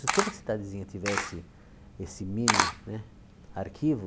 Se toda cidadezinha tivesse esse mini né arquivo,